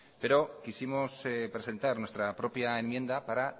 pero quisimos presentar nuestra propia enmienda para